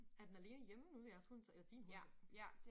Er den alene hjemme nu jeres hun så eller din hund så?